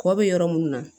Kɔ bɛ yɔrɔ minnu na